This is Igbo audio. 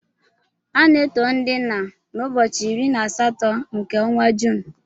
A na-eto ndị nna n'ụbọchị iri na asatọ nke ọnwa Juun.